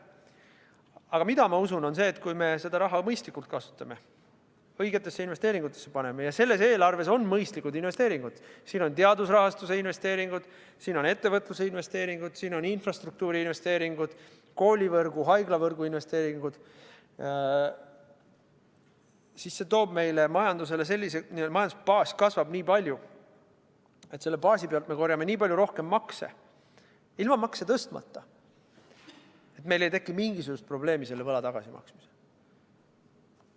Aga ma usun seda, et kui me seda raha mõistlikult kasutame, õigesti investeerime – selles eelarves on mõistlikud investeeringud, siin on teadusrahastuse investeeringud, siin on ettevõtluse investeeringud, siin on infrastruktuuri investeeringud, koolivõrgu ja haiglavõrgu investeeringud –, siis kasvab meie majanduse baas nii palju, et selle baasi pealt me korjame nii palju rohkem makse – ilma makse tõstmata –, et meil ei teki mingisugust probleemi selle võla tagasimaksmisel.